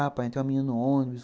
Ah, pai, tem uma menina no ônibus.